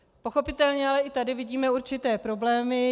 Pochopitelně ale i tady vidíme určité problémy.